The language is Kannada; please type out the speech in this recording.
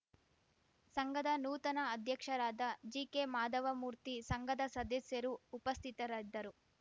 ಸಂಘದ ನೂತನ ಅಧ್ಯಕ್ಷರಾದ ಜಿಕೆ ಮಾಧವಮೂರ್ತಿ ಸಂಘದ ಸದಸ್ಯರು ಉಪಸ್ಥಿತರಿದ್ದರು